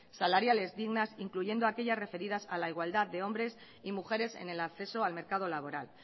salariales dignas incluyendo a aquellas referidas a la igualdad de hombres y mujeres en el acceso al mercado laboral